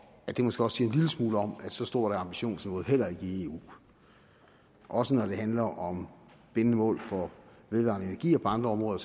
måske også en lille smule om at så stort er ambitionsniveauet heller ikke i eu også når det handler om bindende mål for vedvarende energi og på andre områder